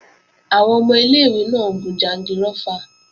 Àwọn ọmọ ilé-ìwé náà ń gun jangirófà